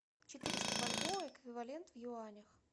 четыреста бальбоа эквивалент в юанях